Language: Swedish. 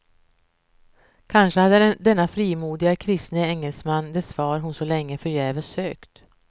Kanske hade denne frimodige kristne engelsman det svar hon så länge förgäves sökt.